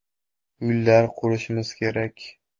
Uylar qurishimiz kerak.